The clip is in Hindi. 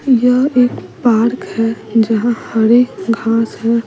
यह एक पार्क है जहां हरे घास है।